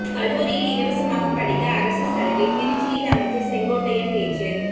கல்லூரியில் இலவசமாக படிக்க அரசு சலுகை திருச்சியில் அமைச்சர் செங்கோட்டையன் பேச்சு